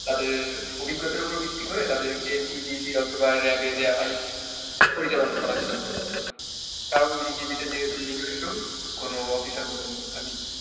তাদের অভিজ্ঞতার উপর ভিত্তি করে তাদের কে BGB অথবা র‍্যাবে দেয়া হয় পরিচালনা করার জন্য কারন BGB এর নিজস্ব কোন officer বা কর্মকর্তা নেই